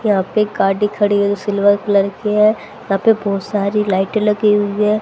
यहां पे गाड़ी खड़ी है जो सिल्वर कलर की है यहां पे बहुत सारी लाइटें लगी हुई है।